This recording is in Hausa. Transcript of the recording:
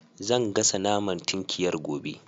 Zan gasa naman tinkiyar gobe